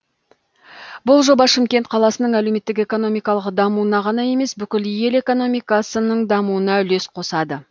бұл жоба шымкент қаласының әлеуметтік экономикалық дамуына ғана емес бүкіл ел экономикасының дамуына үлес қосады